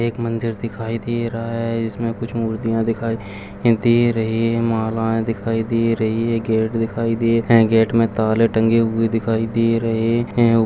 एक मंदिर दिखाई दे रहा है इसमें कुछ मूर्तियाँ दिखाई दे रहे हैंमालाएं दिखाई दे रही हैं गेट दिखाई दे रहा है गेट में ताले टंगे हुए दिखाई दे रहे हैं ।